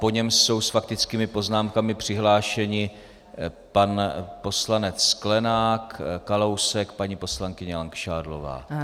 Po něm jsou s faktickými poznámkami přihlášeni pan poslanec Sklenák, Kalousek, paní poslankyně Langšádlová.